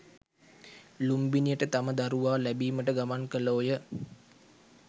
ලුම්බිනියට තම දරුවා ලැබීමට ගමන් කළෝය.